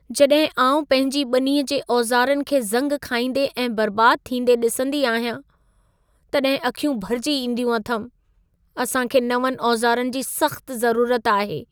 जॾहिं आउं पंहिंजी ॿनीअ जे औज़ारनि खे ज़ंग खाईंदे ऐं बर्बादु थींदे ॾिसंदी आहियां, तॾहिं अखियूं भरिजी ईंदियूं अथमि। असां खे नवंनि औज़ारनि जी सख़्तु ज़रूरत आहे।